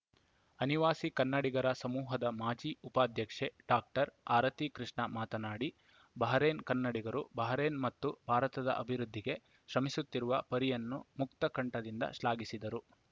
ಅನಿವಾಸಿ ಕನ್ನಡಿಗರ ಸಮೂಹದ ಮಾಜಿ ಉಪಾಧ್ಯಕ್ಷೆ ಡಾಕ್ಟರ್ ಆರತಿ ಕೃಷ್ಣ ಮಾತನಾಡಿ ಬಹರೇನ್‌ ಕನ್ನಡಿಗರು ಬಹರೇನ್‌ ಮತ್ತು ಭಾರತದ ಅಭಿವೃದ್ಧಿಗೆ ಶ್ರಮಿಸುತ್ತಿರುವ ಪರಿಯನ್ನು ಮುಕ್ತಕಂಠದಿಂದ ಶ್ಲಾಘಿಸಿದರು